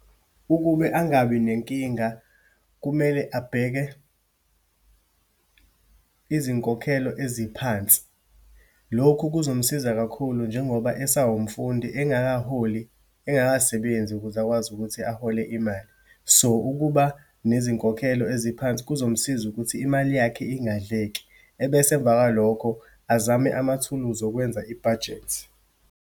Ukube angabi nenkinga, kumele abheke izinkokhelo eziphansi. Lokhu kuzomsiza kakhulu, njengoba esawumfundi, engakaholi, engakasebenzi ukuze akwazi ukuthi ahole imali. So, ukuba nezinkokhelo eziphansi kuzomsiza ukuthi imali yakhe ingadleki. Ebese emva kwalokho, azame amathuluzi okwenza ibhajethi.